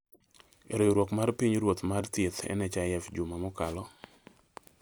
Riwruok mar Pinyruoth mar Thieth-NHIF juma mokalo